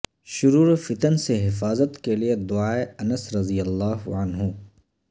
شرور و فتن سے حفاظت کے لیے دعائے انس رضی اللہ عنہ